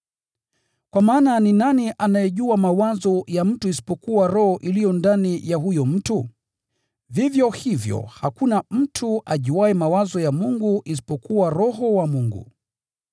Kwa maana ni nani anayejua mawazo ya mtu isipokuwa roho iliyo ndani ya huyo mtu? Vivyo hivyo hakuna mtu ajuaye mawazo ya Mungu isipokuwa Roho wa Mungu.